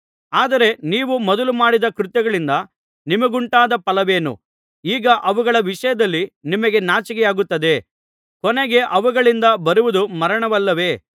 ಆದರೆ ನೀವು ಮೊದಲು ಮಾಡಿದ್ದ ಕೃತ್ಯಗಳಿಂದ ನಿಮಗುಂಟಾದ ಫಲವೇನು ಈಗ ಅವುಗಳ ವಿಷಯದಲ್ಲಿ ನಿಮಗೆ ನಾಚಿಕೆಯಾಗುತ್ತಿದೆ ಕೊನೆಗೆ ಅವುಗಳಿಂದ ಬರುವುದು ಮರಣವಲ್ಲವೇ